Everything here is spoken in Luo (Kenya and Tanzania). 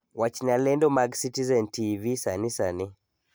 Wachna lendo mag citizen tivi sani sani